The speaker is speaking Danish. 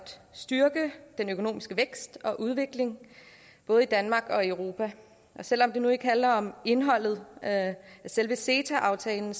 styrke den økonomiske vækst og udvikling både i danmark og i europa og selv om det nu ikke handler om indholdet af selve ceta aftalen